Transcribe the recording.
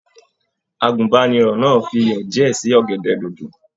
Àgùnbánirọ̀ náà fí iyọ diẹ sí ọ̀gẹ̀dẹ̀ dodo.